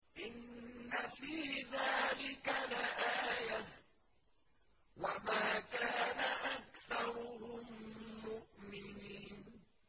إِنَّ فِي ذَٰلِكَ لَآيَةً ۖ وَمَا كَانَ أَكْثَرُهُم مُّؤْمِنِينَ